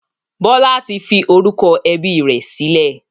Bọlá tí fi orúkọ ẹbí rẹ sílẹ̀.